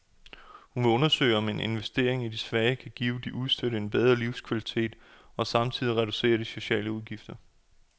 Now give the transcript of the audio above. Hun vil undersøge om en investering i de svage kan give de udstødte en bedre livskvalitet og samtidig reducere de sociale udgifter.